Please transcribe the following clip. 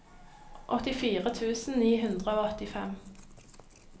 åttifire tusen ni hundre og åttifem